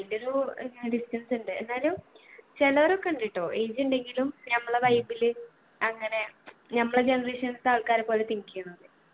അയിന്റെ ഒരു ഇങ്ങന distance ഇണ്ട് എന്നാലും ചേലൊരൊക്കെ ഉണ്ട് ട്ടോ age ഉണ്ടെങ്കിലും നമ്മളെ vibe ല് അങ്ങനെ നമ്മളെ generation ലത്തെ ആൾക്കാരെ പോലെ think എയ്യുന്നത്